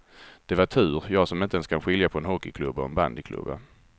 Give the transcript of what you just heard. Det var tur, jag som inte ens kan skilja på en hockeyklubba och en bandyklubba.